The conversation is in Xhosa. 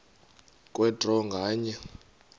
kwe draw nganye